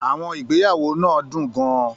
Àwọn ìgbéyàwó náà dùn gan-an.